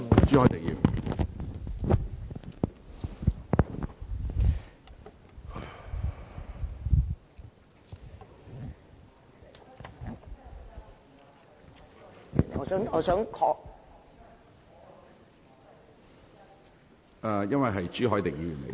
主席，我想確定一個問題......